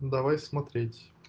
давай смотреть